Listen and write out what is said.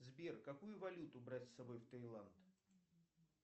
сбер какую валюту брать с собой в таиланд